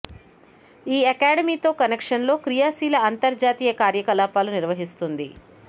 ఈ అకాడమీ తో కనెక్షన్ లో క్రియాశీల అంతర్జాతీయ కార్యకలాపాలు నిర్వహిస్తుంది